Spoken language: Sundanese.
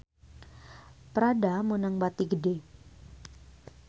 Prada meunang bati gede